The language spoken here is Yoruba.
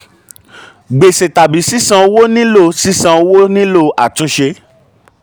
gbèsè tàbí sisan owó nílò sisan owó nílò àtúnṣe.